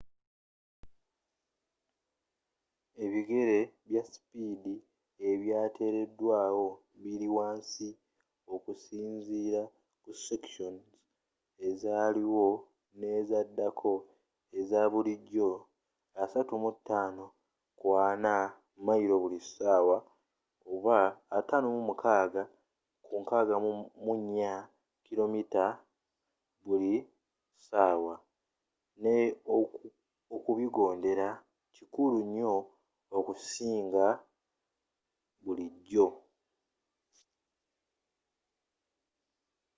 ebigera bya sipiidi ebyateredwawo biri wansi okusinzira ku sections azaaliwo n'ezaddako - eza bulijjo 35-40mph 56-64km/h - ne okubigondera kikulu nnyo okusinga bulijjo